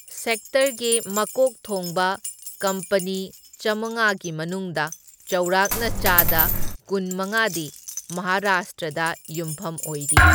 ꯁꯦꯛꯇꯔꯒꯤ ꯃꯀꯣꯛ ꯊꯣꯡꯕ ꯀꯝꯄꯅꯤ ꯆꯥꯝꯃꯉꯥꯒꯤ ꯃꯅꯨꯡꯗ ꯆꯥꯎꯔꯥꯛꯅ ꯆꯥꯗ ꯀꯨꯟꯃꯉꯥꯗꯤ ꯃꯍꯥꯔꯥꯁꯇ꯭ꯔꯗ ꯌꯨꯝꯐꯝ ꯑꯣꯏꯔꯤ꯫